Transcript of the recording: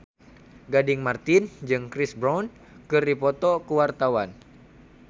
Gading Marten jeung Chris Brown keur dipoto ku wartawan